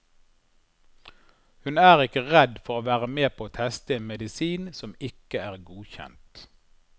Hun er ikke redd for å være med på å teste en medisin som ikke er godkjent.